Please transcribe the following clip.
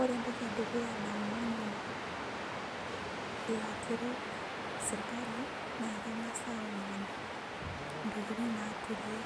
ore entoki edukuya naomon ilaturok serikali naa keng'as aomon itokitin naaturie